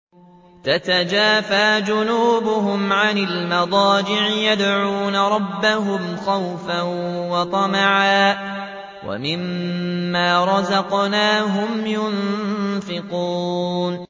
تَتَجَافَىٰ جُنُوبُهُمْ عَنِ الْمَضَاجِعِ يَدْعُونَ رَبَّهُمْ خَوْفًا وَطَمَعًا وَمِمَّا رَزَقْنَاهُمْ يُنفِقُونَ